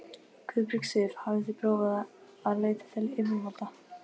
Guðbjörg Sif: Hafið þið prófað að leita til yfirvalda?